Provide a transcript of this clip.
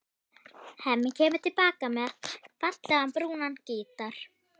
Hemmi kemur til baka með fallegan, brúnan gítar.